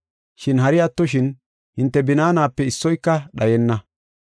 Shin hari attoshin, hinte binaanape issoyka dhayenna.